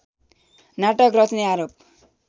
नाटक रच्ने आरोप